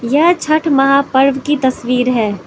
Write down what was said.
यह छठ महा पर्व की तस्वीर है।